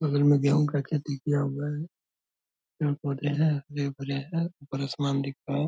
बगल में गेहूं का खेती किया हुआ है पेड़-पौधे है हरे-भरे है ऊपर आसमान दिख रहा है।